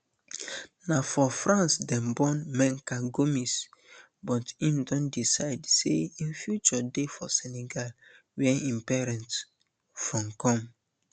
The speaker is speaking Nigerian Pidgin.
na for france dem born menka gomis but im don decide say im future dey for senegal wia im parents from come